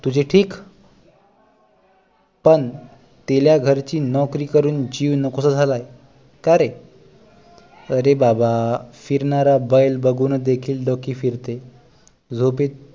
तुझे ठीक पण दिल्या घरची नोकरी करून जीव नकोसा झालाय कारे आरे बाबा चिडणारा बैल बघून देखील डोके फिरते डोके